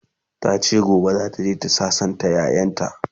tace gobe zataje ta sassanta ƴaƴanta